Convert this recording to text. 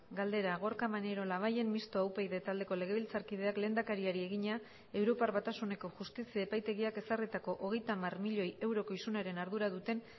galdera gorka maneiro labayen mixtoa upyd taldeko legebiltzarkideak lehendakariari egina europar batasuneko justizia epaitegiak ezarritako hogeita hamar milioi euroko isunaren ardura duten